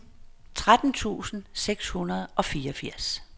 tretten tusind seks hundrede og fireogfirs